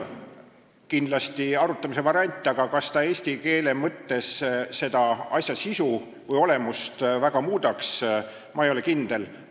Kindlasti oleks see arutamist väärt, aga kas see asja sisu või olemust väga muudaks – ma ei ole selles kindel.